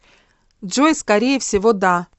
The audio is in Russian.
джой скорее всего да